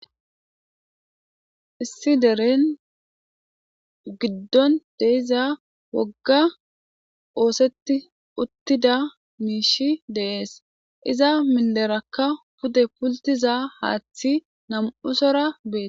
issi deren giddon deiza wogga oosetti uttida miishi deees iza minderakka pude pultiza haaththi nam7usora bee